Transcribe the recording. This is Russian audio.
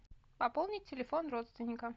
пополнить телефон родственника